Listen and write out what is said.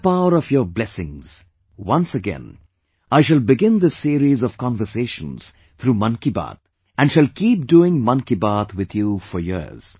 With the power of your blessings, once again I shall begin this series of conversations through 'Mann Ki Baat'... and shall keep doing 'Mann Ki Baat' with you for years